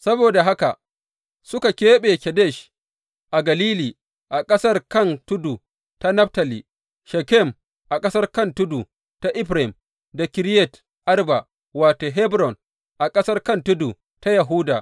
Saboda haka suka keɓe Kedesh a Galili a ƙasar kan tudu ta Naftali, Shekem a ƙasar kan tudu ta Efraim, da Kiriyat Arba wato, Hebron a ƙasar kan tudu ta Yahuda.